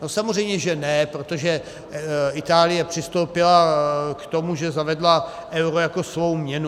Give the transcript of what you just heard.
No samozřejmě že ne, protože Itálie přistoupila k tomu, že zavedla euro jako svou měnu.